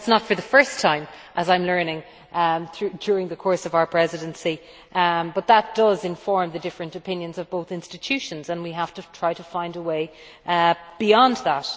That is not for the first time, as I am learning during the course of our Presidency, but that does inform the different opinions of both institutions and we have to try and find a way beyond that.